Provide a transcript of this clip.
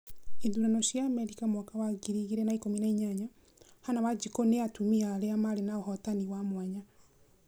ithurano cia Amerika mwaka wa ngiri igĩrĩ na ikumi na inyanya: hannah wanjiku na atumia arĩa marĩ naũhotani wa mwanya